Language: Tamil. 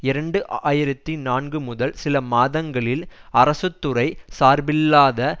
இரண்டு ஆயிரத்தி நான்கு முதல் சில மாதங்களில் அரசு துறை சார்பில்லாத